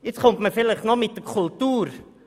Jetzt kommt man vielleicht noch mit der Kultur.